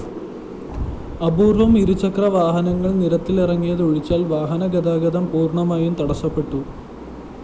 അപൂര്‍വ്വം ഇരുചക്രവാഹനങ്ങള്‍ നിരത്തിലിറങ്ങിയതൊഴിച്ചാല്‍ വാഹനഗതാഗതം പൂര്‍ണ്ണമായും തടസ്സപ്പെട്ടു